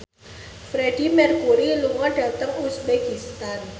Freedie Mercury lunga dhateng uzbekistan